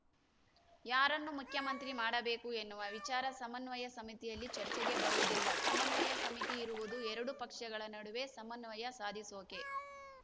ಯಾರನ್ನು ಮುಖ್ಯಮಂತ್ರಿ ಮಾಡಬೇಕು ಎನ್ನುವ ವಿಚಾರ ಸಮನ್ವಯ ಸಮಿತಿಯಲ್ಲಿ ಚರ್ಚೆಗೆ ಬರುವುದಿಲ್ಲ ಸಮನ್ವಯ ಸಮಿತಿ ಇರುವುದು ಎರಡು ಪಕ್ಷಗಳ ನಡುವೆ ಸಮನ್ವಯ ಸಾಧಿಸೋಕೆ